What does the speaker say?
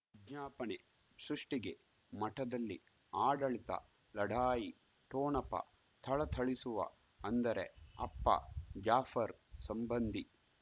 ವಿಜ್ಞಾಪನೆ ಸೃಷ್ಟಿಗೆ ಮಠದಲ್ಲಿ ಆಡಳಿತ ಲಢಾಯಿ ಠೊಣಪ ಥಳಥಳಿಸುವ ಅಂದರೆ ಅಪ್ಪ ಜಾಫರ್ ಸಂಬಂಧಿ